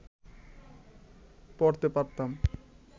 করতে পারতাম